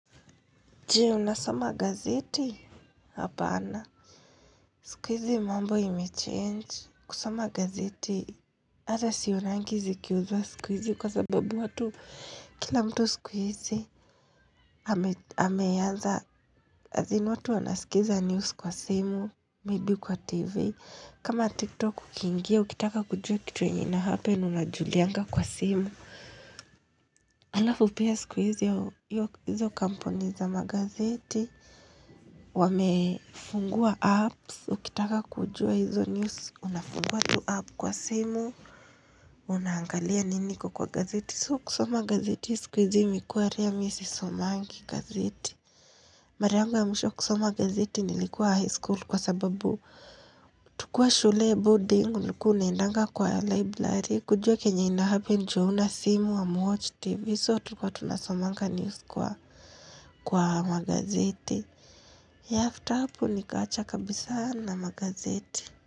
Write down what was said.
Je, unasoma gazeti? Hapana. Siku hizi mambo ime change. Kusoma gazeti, ata sionangi zikiuzwa siku hizi kwa sababu watu. Kila mtu sikuizi, wameanza, azin watu wanasikiza news kwa simu, maybe kwa TV. Kama TikTok ukiingia, ukitaka kujua kitu yenye ina happend, unajulianga kwa simu. Alafu pia siku hizi, hizo kampuni za magazeti. Wamefungua apps, ukitaka kujua hizo news, unafungua tu app kwa simu, unaangalia nini iko kwa gazeti. So kusoma gazeti siku hizi imekuwa rare mimi sisomangi gazeti. Mara yangu ya mwisho kusoma gazeti nilikuwa high school kwa sababu tukiwa shule boarding, ulikua unaendanga kwa library, kujua kenye inahappen juu hauna simu hamuwoch tv. So tulikua tunasomanga news kwa magazeti. Afta hapo nikaacha kabisa na magazeti.